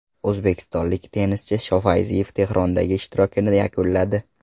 O‘zbekistonlik tennischi Shofayziyev Tehrondagi ishtirokini yakunladi.